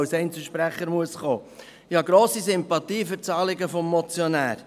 Ich habe grosse Sympathie für das Anliegen des Motionärs.